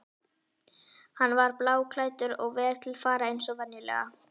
Hann var bláklæddur og vel til fara eins og venjulega.